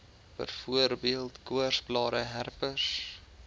byvoorbeeld koorsblare herpes